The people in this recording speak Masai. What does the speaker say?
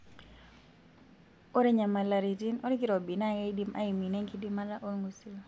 Ore nyamalaritin olkirobi naa keidim aiminie enkidimata olngusil.